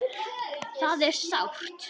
Það er sárt.